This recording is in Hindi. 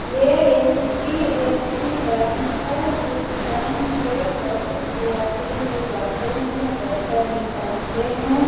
ये एच.डी.एफ.सी. बैंक हैं इस बैंक में बहुत यात्री लोग आते हैं पैसा निकालते हैं।